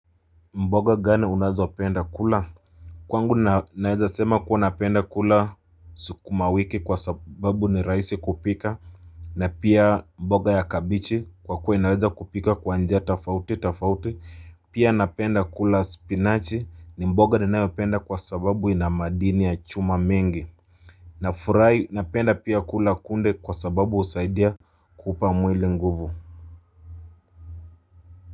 Mboga gani unazopenda kula? Kwangu naweza sema kuwa napenda kula sukumawiki kwa sababu ni raisi kupika. Na pia mboga ya kabichi kwa kuwa inaweza kupika kwa njia tofauti tofauti. Pia napenda kula spinachi ni mboga ninayopenda kwa sababu ina madini ya chuma mengi. Na fry napenda pia kula kunde kwa sababu usaidia kupa mwili nguvu.